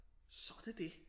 Så er det det